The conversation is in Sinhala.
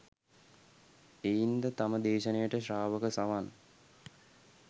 එයින් ද තම දේශනයට ශ්‍රාවක සවන්